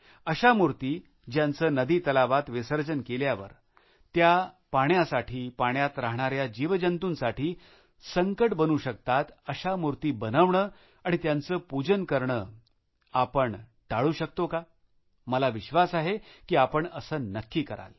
अशा मूर्ती ज्यांचे नदीतलावात विसर्जन केल्यावर त्या पाण्यासाठी पाण्यात राहणाऱ्या जीवजंतूंसाठी संकट बनू शकतात अशा मूर्ती बनवणे आणि त्यांचे पूजन करणे आपण टाळू शकतो का मला विश्वास आहे की आपण असे नक्की कराल